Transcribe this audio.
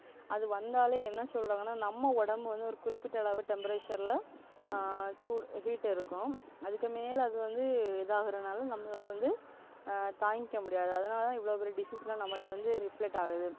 அது வந்தாலே என்ன சொல்றாங்கன்னா நம்ம உடம்பு வந்து ஒரு குறிப்பிட்ட அளவு temperature ல ஆஹ் சூடு heat இருக்கும் அதுக்கு மேல அது வந்து இதாகுறதுனால நம்ம அதை வந்து ஆஹ் தாங்கிக்க முடியாது அதனாலதான் இவ்வளவு disease லாம் நம்மளுகிட்ட வந்து reflect ஆகுது